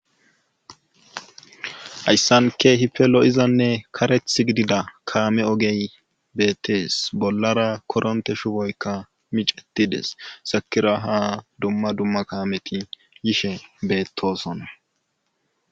hayssan kehipe lo7izanne kareth gidida kaame ogey beettees bollara koronte shuboykka micetides sakira ha dumma dumma kaameti yishe beettosona